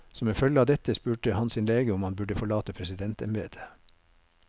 Som en følge av dette spurte han sin lege om han burde forlate presidentembedet.